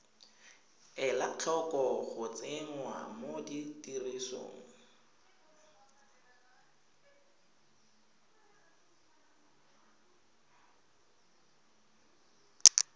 ela tlhoko go tsenngwa tirisong